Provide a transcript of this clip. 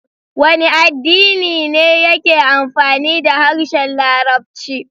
Wane addini ne yake amfani da harshen Larabci?